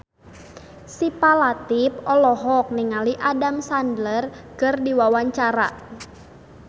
Syifa Latief olohok ningali Adam Sandler keur diwawancara